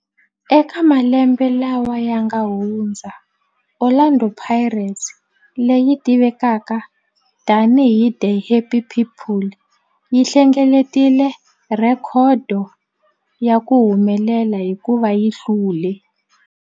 Eka malembe lawa yanga hundza, Orlando Pirates, leyi tivekaka tani hi 'The Happy People', yi hlengeletile rhekhodo ya ku humelela hikuva yi hlule